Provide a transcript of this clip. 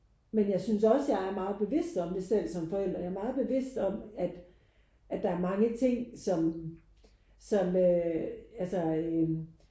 Men jeg synes også jeg er meget bevidst om det selv som forældre. Jeg er meget bevidst om at at der er mange ting som som øh altså øh